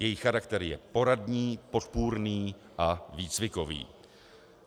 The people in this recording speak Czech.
Její charakter je poradní, podpůrný a výcvikový.